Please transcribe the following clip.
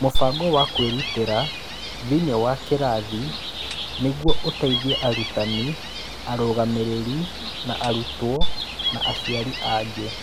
Mũbango wa kwĩrutĩra thĩinĩ wa kĩrathi nĩguo ũteithie arutani, arũgamĩrĩri, arutwo na aciari angĩ.